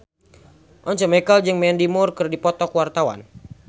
Once Mekel jeung Mandy Moore keur dipoto ku wartawan